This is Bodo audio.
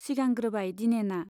सिगांग्रोबाय दिनेना।